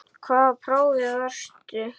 Í hvaða prófi varstu?